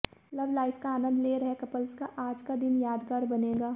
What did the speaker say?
love life का आनंद ले रहे कप्लस का आज दिन यादगार बनेगा